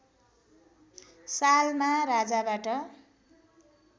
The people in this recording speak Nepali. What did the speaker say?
सालमा राजाबाट